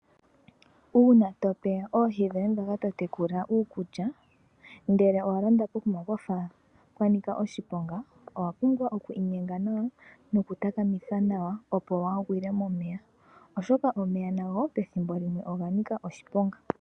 Uuna tope oohi dhoye ndhoka totekula uukulya ngele owa londa pokuma pwafa pwa nika oshiponga. Owa pumbwa oku inyenga nawa noku takamitha nawa opo wa gwile momeya, oshoka omeya nago pethimbo limwe nago oga nika oshiponga.